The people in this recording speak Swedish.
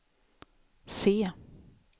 C